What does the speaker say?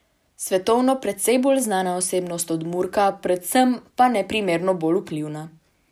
Svetovno precej bolj znana osebnost od Murka, predvsem pa neprimerno bolj vplivna.